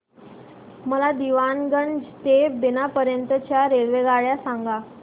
मला दीवाणगंज ते बिना पर्यंत च्या रेल्वेगाड्या सांगा